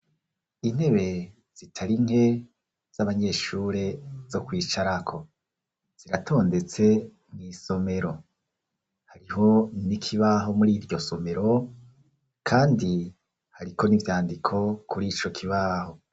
Intebe zitari nke z'abanyeshure zo kwicarako ziratondetse mw'­isomero hariho n'ikibaho muri iryo somero kandi hariko n'ivyandiko kuri ico kibaho.